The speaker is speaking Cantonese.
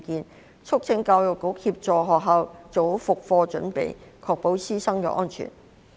委員促請教育局協助學校做好復課準備，確保師生安全。